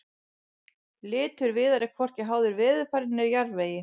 litur viðar er hvorki háður veðurfari né jarðvegi